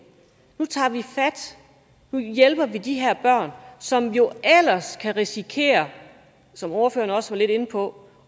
nu tager vi fat nu hjælper vi de her børn som jo ellers kan risikere som ordføreren også var lidt inde på